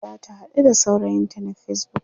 yau zata haɗu da saurayinta na facebook